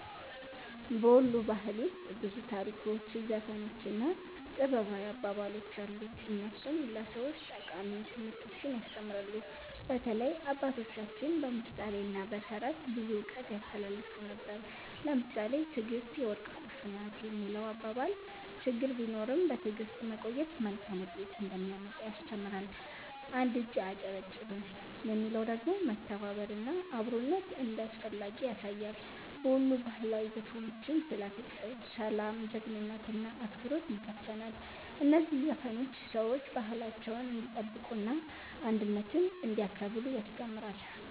በ ወሎ ባህል ውስጥ ብዙ ታሪኮች፣ ዘፈኖች እና ጥበባዊ አባባሎች አሉ፣ እነሱም ለሰዎች ጠቃሚ ትምህርቶችን ያስተምራሉ። በተለይ አባቶቻችን በምሳሌ እና በተረት ብዙ እውቀት ያስተላልፉ ነበር። ለምሳሌ “ትዕግስት የወርቅ ቁልፍ ናት” የሚለው አባባል ችግር ቢኖርም በትዕግስት መቆየት መልካም ውጤት እንደሚያመጣ ያስተምራል። “አንድ እጅ አያጨበጭብም” የሚለው ደግሞ መተባበር እና አብሮነት እንዳስፈላጊ ያሳያል። በወሎ ባህላዊ ዘፈኖችም ስለ ፍቅር፣ ሰላም፣ ጀግንነት እና አክብሮት ይዘፈናል። እነዚህ ዘፈኖች ሰዎች ባህላቸውን እንዲጠብቁ እና አንድነትን እንዲያከብሩ ያስተምራሉ።